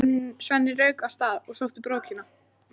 Svenni rauk af stað og sótti brókina.